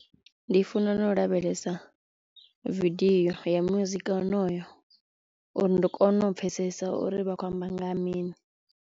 Ndi funa na u lavhelesa vidiyo ya muzika wonoyo uri ndi kone u pfhesesa uri vha khou amba nga ha mini.